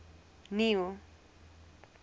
neil